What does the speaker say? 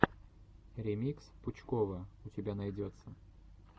ремикс пучкова у тебя найдется